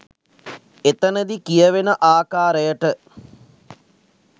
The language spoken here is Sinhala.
එතනදි කියවෙන ආකාරයට